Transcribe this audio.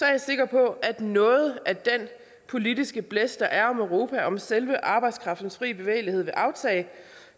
jeg sikker på at noget af den politiske blæst der er i europa om selve arbejdskraftens frie bevægelighed vil aftage